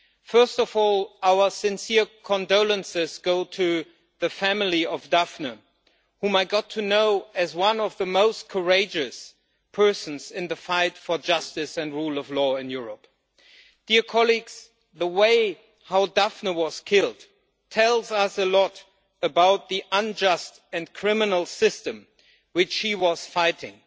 First of all, our sincere condolences go to the family of Daphne, whom I got to know as one of the most courageous people in the fight for justice and the rule of law in Europe. The way in which Daphne was killed tells us a lot about the unjust and criminal system which she was fighting.